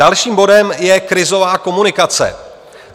Dalším bodem je krizová komunikace.